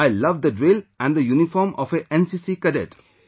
I love the drill and the uniform of a NCC cadet